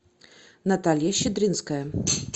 наталья щедринская